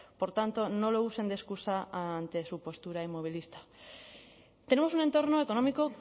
por tanto no lo usen de excusa ante su postura inmovilista tenemos un entorno económico